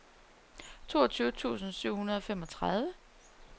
toogtyve tusind syv hundrede og femogtredive